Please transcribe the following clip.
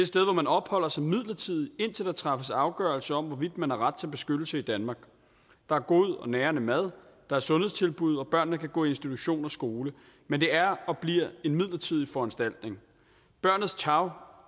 sted hvor man opholder sig midlertidigt indtil der træffes afgørelse om hvorvidt man har ret til beskyttelse i danmark der er god og nærende mad der er sundhedstilbud og børnene kan gå i institution og skole men det er og bliver en midlertidig foranstaltning barnets tarv